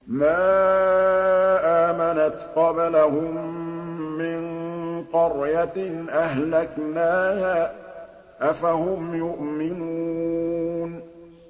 مَا آمَنَتْ قَبْلَهُم مِّن قَرْيَةٍ أَهْلَكْنَاهَا ۖ أَفَهُمْ يُؤْمِنُونَ